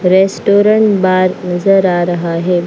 Restaurant bar नजर आ रहा है।